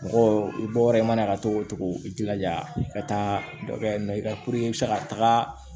Mɔgɔ i bɔ yɔrɔ i mana ka togo togo i jilaja i ka taa dɔ kɛ yen nɔ i ka i bɛ se ka taga